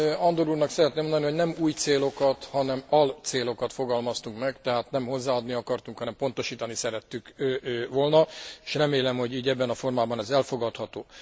Andor úrnak szeretném mondani, hogy nem új célokat, hanem alcélokat fogalmaztunk meg, tehát nem hozzáadni akartunk, hanem pontosítani szerettük volna, és remélem, hogy ez ilyen formában elfogadható.